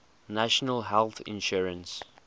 national health insurance